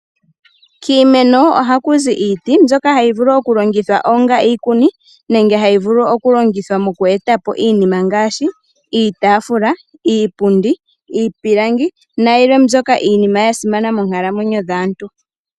Kiimeno oha ku zi iiti mbyoka ha yi vulu oku longithwa onga iikuni, nenge ha yi vulu oku longithwa moku etapo iinima ngaashi, iitaafula, iipundi, iipilangi nayilwe mbyoka ya simana moonkalamwenyo dhaantu.